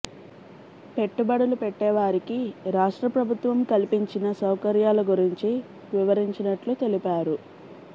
పెట్టుబడులు పెట్టేవారికి రాష్ట్ర ప్రభుత్వం కల్పించిన సౌకర్యాల గురించి వివరించినట్లు తెలిపారు